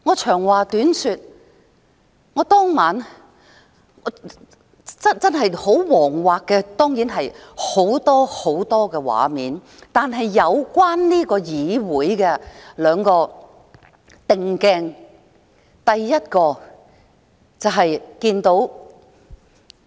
長話短說，我當晚真的很惶惑，眼前出現很多很多畫面，但與這個議會的議員相關的兩個鏡頭：第一個是看到......